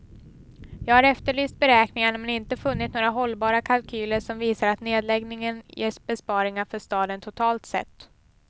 Jag har efterlyst beräkningarna men inte funnit några hållbara kalkyler som visar att nedläggningen ger besparingar för staden totalt sett.